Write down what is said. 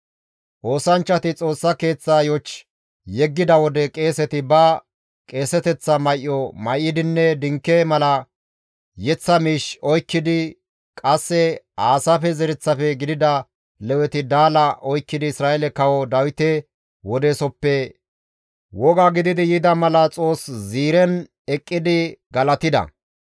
Oosanchchati Xoossa Keeththaa yoch yeggida wode qeeseti ba qeeseteththa may7o may7idinne dinke mala yeththa miish oykkidi qasse Aasaafe zereththafe gidida Leweti daala oykkidi Isra7eele kawo Dawite wodeesoppe woga gididi yida mala Xoos ziiren eqqidi galatida.